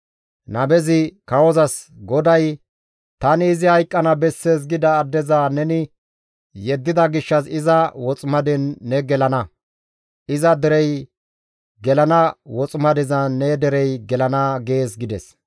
Nabezi kawozas, «GODAY, ‹Tani izi hayqqana bessees gida addeza neni yeddida gishshas iza woximaden ne gelana; iza derey gelana woximadezan ne derey gelana› gees» gides.